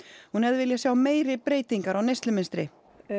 hún hefði viljað sjá meiri breytingar á neyslumynstri